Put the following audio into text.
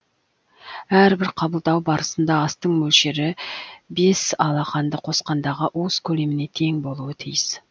әрбір қабылдау барысында астың мөлшері бес алақанды қосқандағы уыс көлеміне тең болуы тиіс